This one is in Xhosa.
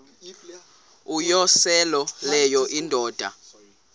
uyosele leyo indoda